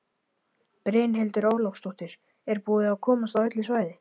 Brynhildur Ólafsdóttir: Er búið að komast á öll svæði?